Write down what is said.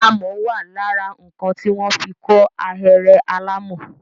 Amọ̀ wà lára nǹkan tí wọ́n fi kọ́ ahéré alàmọ̀.